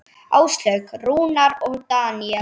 Áslaug, Rúnar og Daníel.